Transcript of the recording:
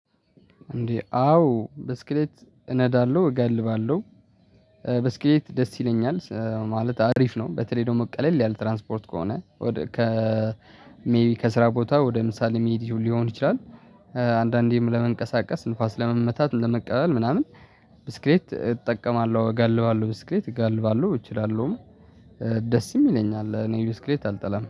እንዴ አዎ ብስክሌት እነዳለሁ እገልባለሁ ብስክሌት ደስ ይለኛል ማለት አሪፍ ነው። በተለይ ደግሞ ቀለል ያል ትራንስፖርት ከሆነ ከሜይቢ ከስራ ቦታ ወደ ምሳሌ ሚዲያ ሊሆን ይችላል። አንዳንዴም ለመንቀሳቀስ ንፋስ ለመመታት ለመቀበል ምናምን ብስክሌት እጠቀማለሁ እጋልባለሁ ብስክሌት እጋልባለሁ እችላለሁም። ደስ ይለኛል እኔ ብስክሌት አልጠላም